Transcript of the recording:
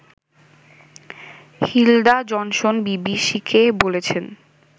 Hilda Johnson বিবিসিকে বলেছেন